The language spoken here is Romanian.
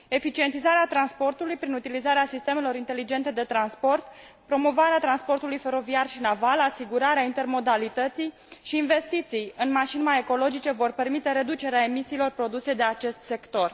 Eficientizarea transportului prin utilizarea sistemelor inteligente de transport, promovarea transportului feroviar și naval, asigurarea intermodalității și investiții în mașini mai ecologice vor permite reducerea emisiilor produse de acest sector.